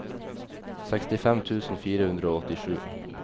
sekstifem tusen fire hundre og åttisju